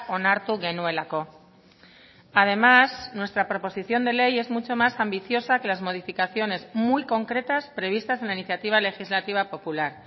onartu genuelako además nuestra proposición de ley es mucho más ambiciosa que las modificaciones muy concretas previstas en la iniciativa legislativa popular